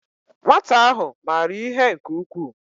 Nwata ahu mara ihe nke ukwuu